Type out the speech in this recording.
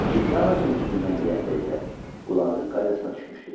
İkinci ağacın üzümündən yeyəndə isə qulağı qaydasına düşmüşdü.